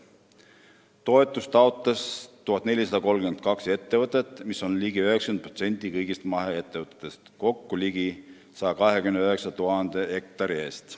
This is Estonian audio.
Toetust taotles 1432 ettevõtet, mis on peaaegu 90% kõigist maheettevõtetest, ligi 129 000 hektari eest.